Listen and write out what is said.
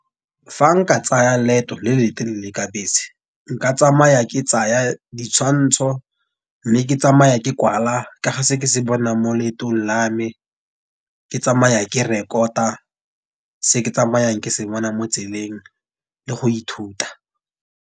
Fa nka tsaya leeto le le telele ka bese. Nka tsamaya ke tsaya ditshwantsho, mme ke tsamaya ke kwala, ka ga se ke se bonang mo leetong la me. Ke tsamaya ke rekota se ke tsamayang ke sebona mo tseleng le go ithuta